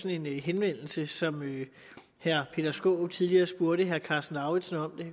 en henvendelse som herre peter skaarup tidligere spurgte herre karsten lauritzen om det